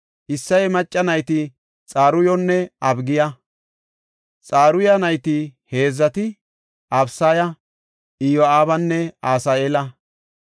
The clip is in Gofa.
Isseye macca nayti Xaruyonne Abigiya. Xaruyi nayti heedzati Abisaya, Iyo7aabanne Asaheela.